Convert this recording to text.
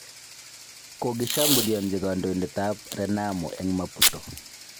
Kogishambulianchi kandoindet ab Renamo eng Maputo